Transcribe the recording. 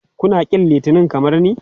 Kuna ƙin Litinin kamar ni?